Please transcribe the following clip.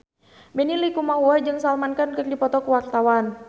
Benny Likumahua jeung Salman Khan keur dipoto ku wartawan